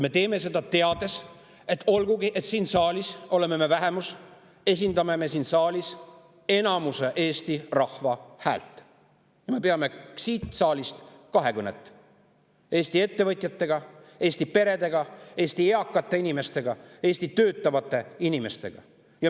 Me teeme seda – olgugi et me oleme siin vähemus –, teades, et me esindame siin saalis enamuse Eesti rahva häält ning me peame siit saalist kahekõnet Eesti ettevõtjatega, Eesti peredega, Eesti eakate inimestega ja Eesti töötavate inimestega.